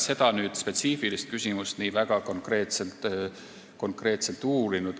Seda spetsiifilist küsimust me ei ole väga konkreetselt uurinud.